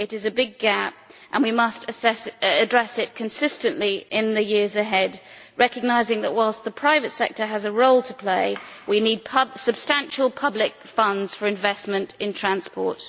It is a big gap and we must address it consistently in the years ahead, recognising that, while the private sector has a role to play, we need substantial public funds for investment in transport.